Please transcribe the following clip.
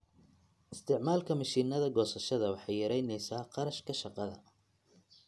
Isticmaalka mishiinada goosashada waxay yaraynaysaa kharashka shaqada.